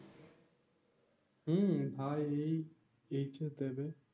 হম হ্যাঁ এই HS দিবে